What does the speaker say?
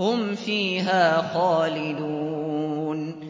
هُمْ فِيهَا خَالِدُونَ